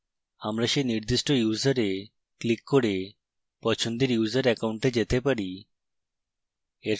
আমরা সেই নির্দিষ্ট ইউসারে ক্লিক করে পছন্দের user অ্যাকাউন্টে যেতে চাই